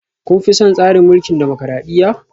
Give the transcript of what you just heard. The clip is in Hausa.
Kun fi son tsarin mulkin dimokradiyya?